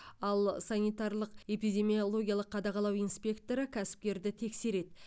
ал санитарлық эпидемиологиялық қадағалау инспекторы кәсіпкерді тексереді